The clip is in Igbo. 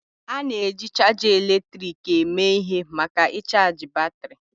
A na-eji chaja eletrik eme ihe maka ịchaji batrị.